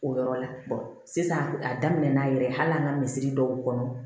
O yɔrɔ la sisan a daminɛ na yɛrɛ hali an ka misi dɔw kɔnɔ